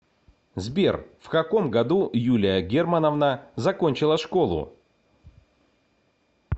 сбер в каком году юлия германовна закончила школу